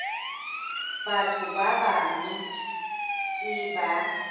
batho ba bang ke ba